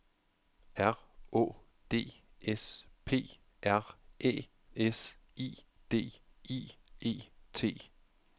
R Å D S P R Æ S I D I E T